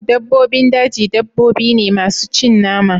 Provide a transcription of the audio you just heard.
Dabbobin daji dabbobi ne masu cin nama